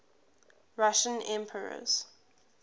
russian emperors